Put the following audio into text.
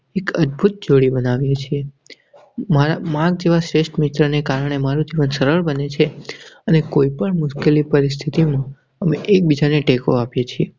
એક અદ્ભૂત જોડી બનાવી છે. મારા જેવા શ્રેષ્ઠ મિત્રને કારણે મારું જીવન સરળ બને છે અને કોઈપણ મુશ્કેલી પરિસ્થિતિમાં અમે એકબીજાને ટેકો આપે છે.